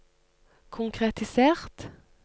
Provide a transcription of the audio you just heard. konkretisert